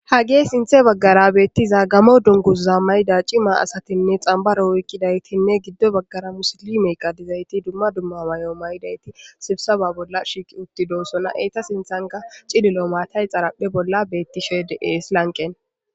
Ha gee sinthe baggara beettiza gamo dunguza mayda cima asatinne xambaro woykkidaytinne giddo baggara musolime qadizayti dumma dumma mayo may7idayti sibsaba bolla shiiqi utti doossona eeta sinthan ka cililo maatay xaraphe bolla beetti shee de ees lanqen.